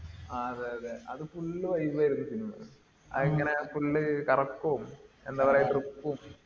ആഹ് അതെ അതെ. അത് full vibe ആയിരുന്നു cinema. അതങ്ങനെ full കറക്കോം എന്താപറയാ trip ഉം